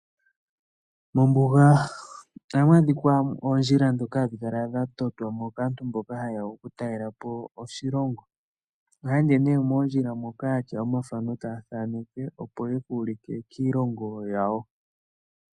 Mombuga ohamu adhika oondjila ndhoka hadhi kala dha totwa kaantu mboka haye ya okutalela po oshilongo. Ohaye ende nee moondjila moka ya tya omathano taya thaneke, opo ye ku ulike kiilongo yawo.